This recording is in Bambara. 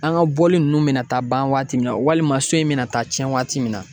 An ka bɔli ninnu na mena taa ban waati min na walima so in bɛna taa tiɲɛ waati min na